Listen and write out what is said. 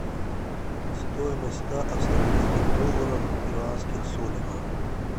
стоимость ста австралийских долларов в перуанских солях